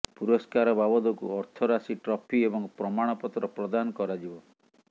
ପୁରସ୍କାର ବାବଦକୁ ଅର୍ଥରାଶି ଟ୍ରଫି ଏବଂ ପ୍ରମାଣପତ୍ର ପ୍ରଦାନ କରାଯିବ